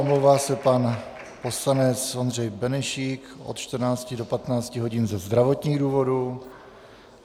Omlouvá se pan poslanec Ondřej Benešík od 14 do 15 hodin ze zdravotních důvodů.